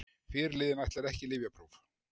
Fyrirliðinn ætlar ekki í lyfjapróf